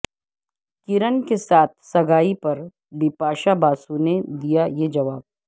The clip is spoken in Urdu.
کرن کے ساتھ سگائی پر بپاشا باسو نے دیا یہ جواب